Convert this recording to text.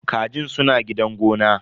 Kajin suna gidan gona.